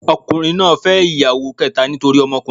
Ọkùnrin náà fẹ́ ìyàwó kẹ́ta nítorí ọmọkùnrin.